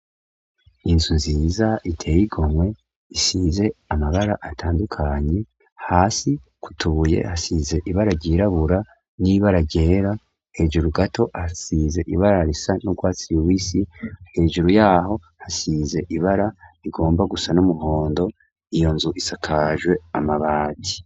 Inzu nziza iteye igomwe isize amabara atandukanye hasi kutuye hasize ibara ryirabura n'ibara ryera hejuru gato hasize ibarar isa n'urwatsi yubisi hejuru yaho hasize ibara igomba gusa n'umuhondo iyo nzu isakajwe amabaji.